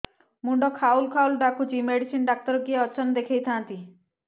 ମୁଣ୍ଡ ଖାଉଲ୍ ଖାଉଲ୍ ଡାକୁଚି ମେଡିସିନ ଡାକ୍ତର କିଏ ଅଛନ୍ ଦେଖେଇ ଥାନ୍ତି